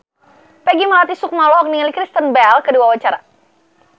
Peggy Melati Sukma olohok ningali Kristen Bell keur diwawancara